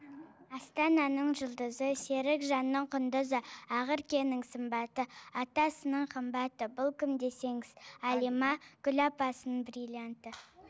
астананың жұлдызы серікжанның құндызы ақеркенің сымбаты атасының қымбаты бұл кім десеңіз әлима гүл апасының бриллианты